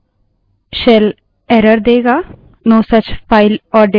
cell error देगा no such file or directory ऐसी कोई फाइल या निर्देशिका नहीं है